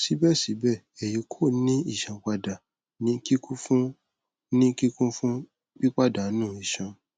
sibẹsibẹ eyi ko ni isanpada ni kikun fun ni kikun fun pipadanu iṣan